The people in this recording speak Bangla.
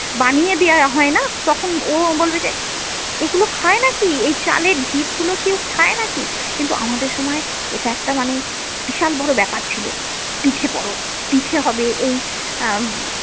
বানিয়ে দেওয়া হয় না, তখন ও বলবে যে এগুলো খায় নাকি এই চালের ঢিপ গুলো কেউ খায় নাকি কিন্তু আমাদের সময় এটা একটা মানে বিশাল বড়ো ব্যাপার ছিল পিঠে পরব পিঠে হবে এই আহ ।